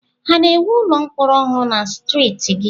Ha na-ewu ụlọ mkpọrọ ọhụrụ na streeti gị?